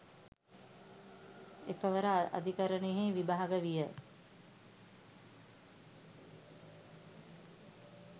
එකවර අධිකරණයෙහි විභාග විය